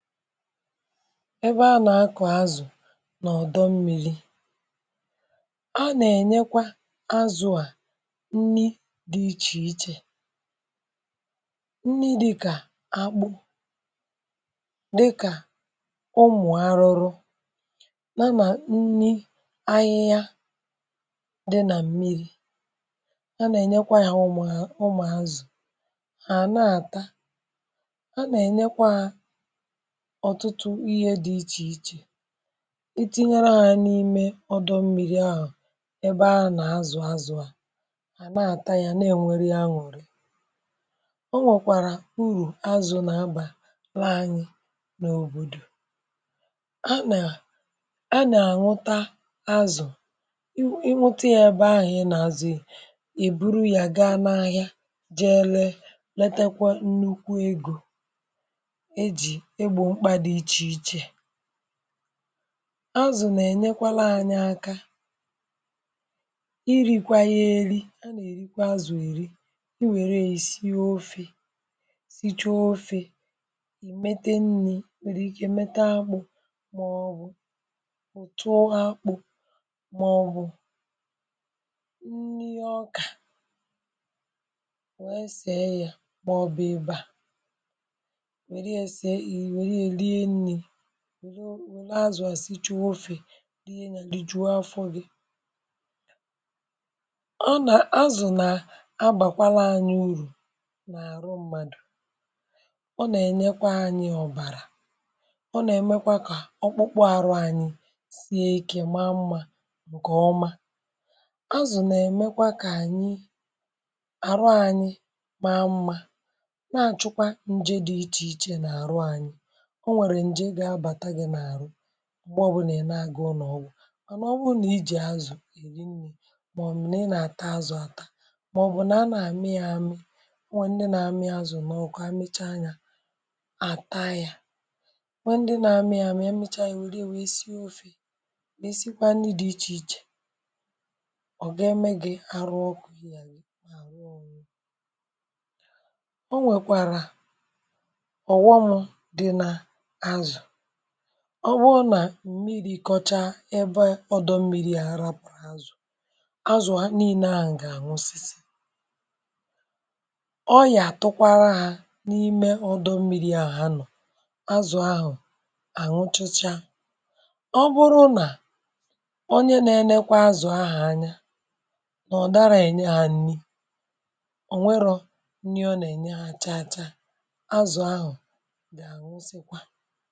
Ebe a nà-akọ̀ azụ̀, n’ọ̀dọ̀ mmiri̇ um.. a nà-ènyekwa azụ̀ à nni̇ dị̇ iche iche. Nni̇ dị̇kà akpụ̇, dị̇kà ụmụ̀ arụrụ, nà nni̇ ahịhịa dị nà mmiri̇ a nà-ènyekwa yà. Ụmụ̀ azụ̀ hà àna àta, a nà-ènyekwa ọ̀tụtụ ihe dị iche iche, itinyere à n’ime ọdọ̀ mmiri̇ ahụ̀ ebe a nà-azụ̀ azụ̀. À na-ata ya, na-enwèrè ya, nwèrè. Ọ nwèkwàrà urù azụ̀ nà-abà la anyị n’òbòdò. À nà-àṅụta azụ̀, ị um mụta ya ebe ahụ̀, ị nà-àzụ̀, èburu ya gaa n’ahịa. Jee, letekwa nnukwu egò... Azụ̀ nà-ènyekwalụ anyị aka iri̇kwà ihe èli, a nà-èrikwa azụ̀ èri. Ị nwèrè, èsi ofè, sịchuo um ofè, èmetè nni̇. Wèrè ike mmetà akpụ̇, màọbụ̀ òtù akpụ̇, màọbụ̀ nni̇ ọkà wère sìe ya. Wèrè ihe, sịe n’ụ̀lọ̀. Azụ̀ à sì, chọ̇ ofè dị ya gị juo afọ gị. Ọ nà, azụ̀ nà-abàkwala anyị urù n’àrụ̀ mmadụ̀. Ọ nà-ènyekwa anyị ọ̀bàrà, ọ nà-èmekwa kà ọkpụkpụ arụ̀ anyị sie ike. Màà mmȧ, ǹkè ọmȧ. Azụ̀ nà-èmekwa. kà ànyị, àrụ̀ anyị maa mmȧ. Nà-àchụkwa nje... dị̇ iche iche nà àrụ̀ ànyị, ǹgwa ọbụla e nèe agụụ n’ọgwụ̀. Mànà, ọ bụrụ nà ị jì azụ̀ èri nri̇, um màọbụ̀ nà ị nà-àta azụ̀ àta, màọbụ̀ nà a nà àmị ya àmị. Ọ nwè ndị nà àmị ya azụ̀ n’ọkụ̀. A mechaa yà, àta yà. Ọ nwè ndị nà àmị ya àmị, mechaa yà, ùri wèrè sie ofè, nà èsikwa nri̇ dị iche iche. Ọ gà-eme gị, arụ̀ ọkụ̇ i yà n’ahụ̀ onye... Ọ nwèkwàrà ọ̀gwụmù̇. Ọ um bụrụ nà mmiri̇ kọ̀chà, ebe ọdọ̀ mmiri̇ hàrà pụ̀rụ̀ azụ̀, azụ̀ a niile ahụ̀ gà-àṅụsisi. Ọ yà tụkwara hà n’ime ọdọ̀ mmiri̇ ahụ̀ ha nọ̀. Azụ̀ ahụ̀ àṅụchịchȧ ọ bụrụ nà onye na-enekwa azụ̀ ahụ̀ anya um n’ọ̀ dara, ènye hà ṅni̇. Ò nwerȯ nni̇ ọ nà-ènye hà? Chà-chà, azụ̀ ahụ̀ bụ̀ enyi.